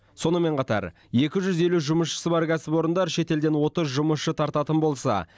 сонымен қатар екі жүз елу жұмысшысы бар кәсіпорындар шетелден отыз жұмысшы тартатын болса